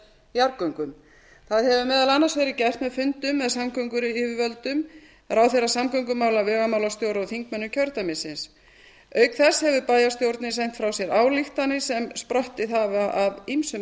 jarðgöngum það hefur meðal annars verið gert með fundum með samgönguyfirvöldum ráðherra samgöngumála vegamálastjóra og þingmönnum kjördæmisins auk þess hefur bæjarstjórnin sent frá sér ályktanir sem sprottið hafa af ýmsum